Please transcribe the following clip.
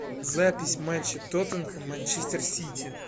запись матча тоттенхэм манчестер сити